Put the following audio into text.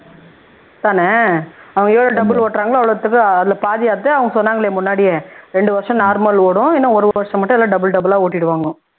அதானே அவங்க எவ்வளவு double ஓட்றாங்களோ அவ்வளவுதுக்கு அதுல பாதி எடுத்து அவங்க சொன்னாங்களே முன்னாடியே ரெண்டு வருஷம் normal ஓடும் இன்னும் ஒரு வருஷம் மட்டும் double double ஆ ஓட்டிடுவாங்க